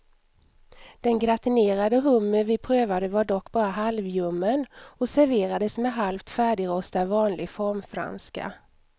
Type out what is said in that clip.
Den gratinerade hummer vi prövade var dock bara halvljummen och serverades med halvt färdigrostad vanlig formfranska.